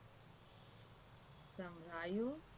સંભળાયું